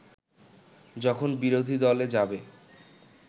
যখন বিরোধীদলে যাবে